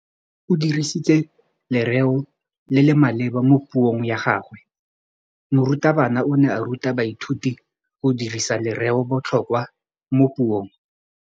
O dirisitse lerêo le le maleba mo puông ya gagwe. Morutabana o ne a ruta baithuti go dirisa lêrêôbotlhôkwa mo puong.